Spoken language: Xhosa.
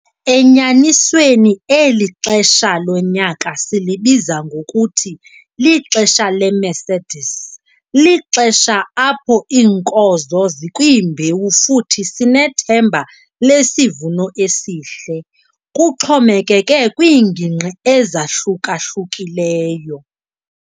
Enyanisweni eli xesha lonyaka silibiza ngokuthi lixesha leMercedes- Lixesha apho iinkozo zikwimbewu futhi sinethemba lesivuno esihle, kuxhomekeke kwiingingqi ezahluka-hlukileyo.